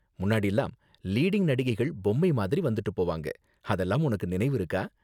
முன்னாடிலாம் லீடிங் நடிகைகள் பொம்மை மாதிரி வந்துட்டு போவாங்க, அதெல்லாம் உனக்கு நினைவிருக்கா?